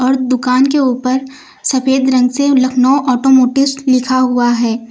और दुकान के ऊपर सफेद रंग से लखनऊ आटोमोटिव लिखा हुआ है।